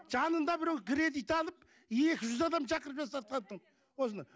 жанында біреу кредит алып екі жүз адам шақырып жасатқан тын осыны